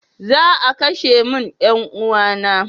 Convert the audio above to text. Za a kashe min 'yan uwana na.